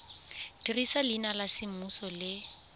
dirisa leina la semmuso le